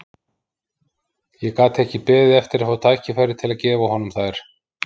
Ég gat ekki beðið eftir að fá tækifæri til að gefa honum þær.